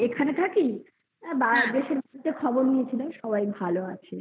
থাকি তো দেশের খবর নিয়েছিলাম সবাই ভালো আছে